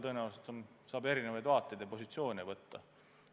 Tõenäoliselt on vaateid ja positsioone erinevaid.